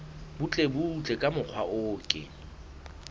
butlebutle ka mokgwa o ke